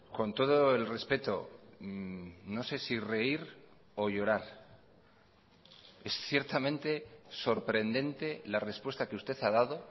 con todo el respeto no sé si reír o llorar es ciertamente sorprendente la respuesta que usted ha dado